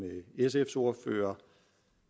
sfs ordfører